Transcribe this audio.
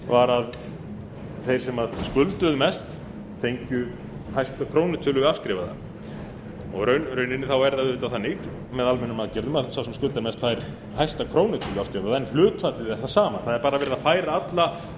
var að þeir sem skulduðu mest fengju ætla krónutölu afskrifaða og í rauninni er það auðvitað þannig með almennum aðgerðum að sá sem skuldar mest fær hæsta krónutölu en hlutfallið er það sama það er bara verið að færa alla